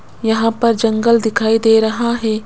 यहां पर जंगल दिखाई दे रहा है।